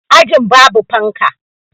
Ajin babu fanka